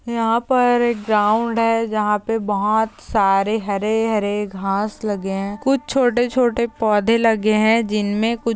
यहा पर एक ग्राउंड है जहा पे बहुत सारे हरे-हरे घास लगे है कुछ छोटे-छोटे पौधे लगे है जिनमे कुछ --